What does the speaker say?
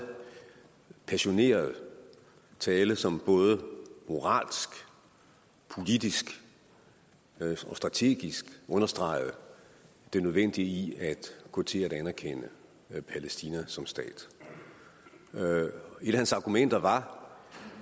passioneret tale som både moralsk politisk og strategisk understregede det nødvendige i at gå til at anerkende palæstina som stat et af hans argumenter var